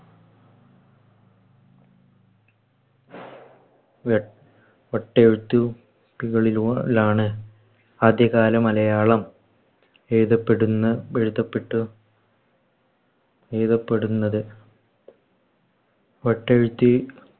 വെ വട്ടയെഴുതു പിലുകളൂ ലാണ് ആദ്യകാല മലയാളം എഴുതപെടുന്നു എഴുതപ്പെട്ടു എഴുതപ്പെടുന്നത്. വട്ടയെഴുത്ത്